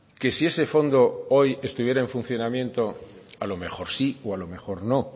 que si ese fondo hoy estuviera en funcionamiento a lo mejor sí o a lo mejor no